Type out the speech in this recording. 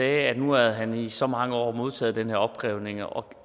at nu havde han i så mange år modtaget den her opkrævning og